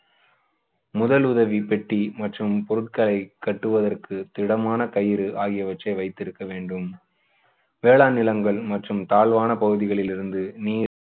முதலுதவி பெட்டி மற்றும் பொருட்களை கட்டுவதற்கு திடமான கயிறு ஆகியவற்றை வைத்திருக்க வேண்டும் வேளாண் நிலங்கள் மற்றும் தாழ்வான பகுதிகளில் இருந்து நீர்